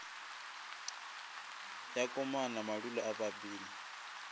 ya komana madula a bapile